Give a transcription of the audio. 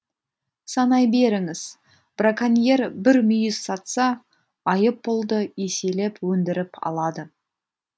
санай беріңіз браконьер бір мүйіз сатса айыппұлды еселеп өндіріп алады